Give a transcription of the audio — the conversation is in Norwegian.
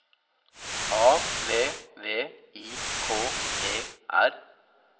A V V I K E R